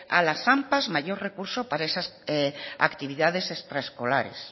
a las ampa mayores recursos para esas actividades extraescolares